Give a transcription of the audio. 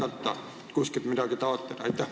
Aitäh!